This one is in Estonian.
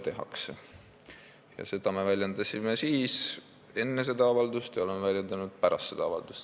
Seda mõtet me väljendasime enne seda avaldust ja oleme väljendanud ka pärast seda avaldust.